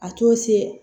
A to se